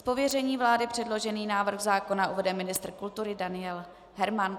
Z pověření vlády předložený návrh zákona uvede ministr kultury Daniel Herman.